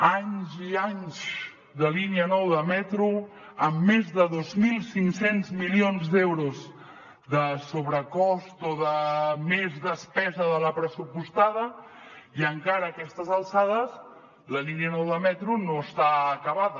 anys i anys de línia nou de metro amb més de dos mil cinc cents milions d’euros de sobrecost o de més despesa de la pressupostada i encara a aquestes alçades la línia nou de metro no està acabada